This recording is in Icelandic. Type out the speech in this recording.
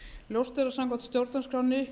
ljóst er að samkvæmt stjórnarskránni